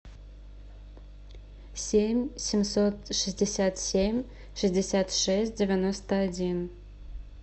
семь семьсот шестьдесят семь шестьдесят шесть девяносто один